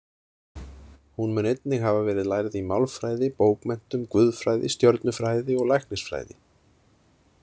Hún mun einnig hafa verið lærð í málfræði, bókmenntum, guðfræði, stjörnufræði og læknisfræði.